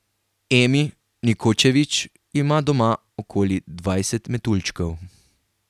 Emi Nikočević ima doma okoli dvajset metuljčkov.